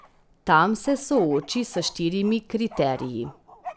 Tam se sooči s štirimi kriteriji.